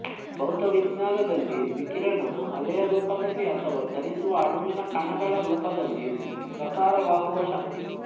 ಭೌತವಿಜ್ಞಾನದಲ್ಲಿ ವಿಕಿರಣವು ಅಲೆಯ ರೂಪದಲ್ಲಿ ಅಥವಾ ಚಲಿಸುವ ಅಣುವಿನ ಕಣಗಳ ರೂಪದಲ್ಲಿ ಪ್ರಸಾರವಾಗುವ ಶಕ್ತಿ